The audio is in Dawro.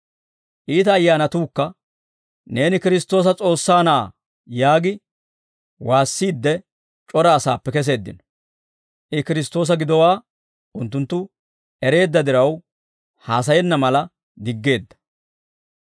Iita ayyaanatuukka, «Neeni Kiristtoosa S'oossaa Na'aa» yaagi waassiidde c'ora asaappe keseeddino. I Kiristtoosa gidowaa unttunttu ereedda diraw haasayenna mala diggeedda.